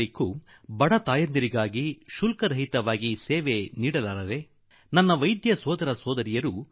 ಉಚಿತವಾಗಿ ನಿಮಗೆ ಕೊಡಲು ಸಾಧ್ಯವಿಲ್ಲವೇ ಎಂದು ವಿಶೇಷವಾಗಿ ಸ್ತ್ರೀರೋಗ ತಜ್ಞೆಯರು ಅಂದರೆ ಉಥಿಟಿeಛಿoಟogisಣ ವೈದ್ಯರನ್ನು ಕೋರುವೆ